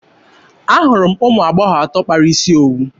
Ahụrụ m ụmụ agbọghọ atọ kpara isi owu.